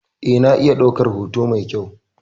Eh, na iya ɗaukar hoto mai kyau.